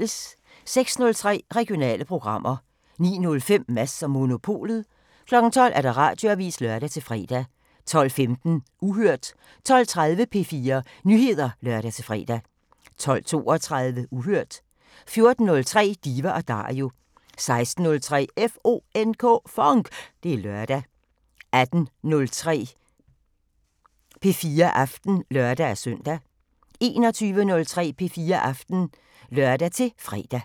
06:03: Regionale programmer 09:05: Mads & Monopolet 12:00: Radioavisen (lør-fre) 12:15: Uhørt 12:30: P4 Nyheder (lør-fre) 12:32: Uhørt 14:03: Diva & Dario 16:03: FONK! Det er lørdag 18:03: P4 Aften (lør-søn) 21:03: P4 Aften (lør-fre)